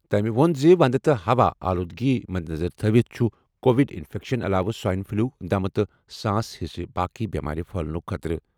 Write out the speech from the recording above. تٔمۍ ووٚن زِ ونٛدٕ تہٕ ہوا آلودگی مدنظر تھٲوِتھ چھُ کووڈ انفیکشن علاوٕ سوائن فلو، دمہ تہٕ سانس ہٕنٛزٕ باقٕے بٮ۪مارِ پھٔہلنُک خطرٕ۔